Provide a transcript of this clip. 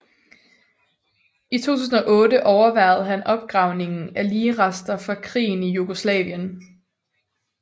I 2008 overværede han opgravningen af ligrester fra krigen i Jugoslavien